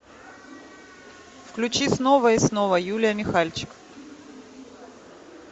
включи снова и снова юлия михальчик